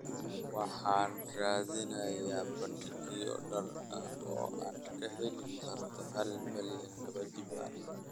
Waxaan raadinayaa bandhigyo dhar ah oo aad ka heli karto hal mayl laba jibaaran